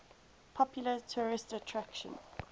popular tourist attraction